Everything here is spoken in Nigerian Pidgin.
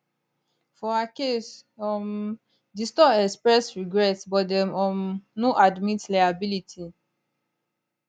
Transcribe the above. for her case um di store express regret but dem um no admit liability